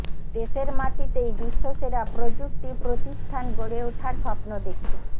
দেশের মাটিতেই বিশ্বসেরা প্রযুক্তি প্রতিষ্ঠান গড়ে ওঠার স্বপ্ন দেখি